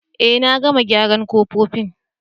Eh, na gama gyaran kofofin.